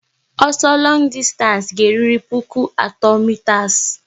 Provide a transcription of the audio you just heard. Ọsọ longu dịstanci ga-eruriri puku atọ mitas